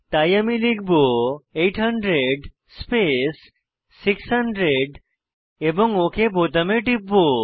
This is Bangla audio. তাই আমি লিখব 800 স্পেস 600 এবং ওক বোতামে টিপব